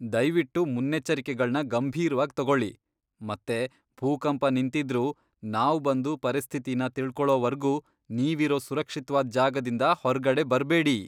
ದಯ್ವಿಟ್ಟು ಮುನ್ನೆಚ್ಚರಿಕೆಗಳ್ನ ಗಂಭೀರ್ವಾಗ್ ತಗೊಳಿ ಮತ್ತೆ ಭೂಕಂಪ ನಿಂತಿದ್ರೂ ನಾವ್ ಬಂದು ಪರಿಸ್ಥಿತಿನ ತಿಳ್ಕೊಳೋವರ್ಗೂ ನೀವಿರೋ ಸುರಕ್ಷಿತ್ವಾದ್ ಜಾಗದಿಂದ ಹೊರ್ಗಡೆ ಬರ್ಬೇಡಿ.